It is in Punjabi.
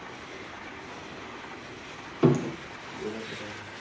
ਉਹ ਤਾ ਪਤਾ ਹੈ ਫੇਰ।